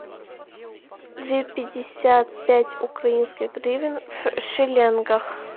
две пятьдесят пять украинских гривен в шиллингах